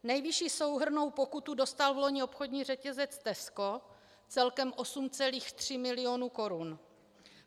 Nejvyšší souhrnnou pokutu dostal vloni obchodní řetězec Tesco, celkem 8,3 milionu korun.